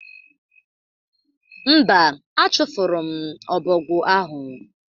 Mba, achụfụrụ m ọbọgwụ ahụ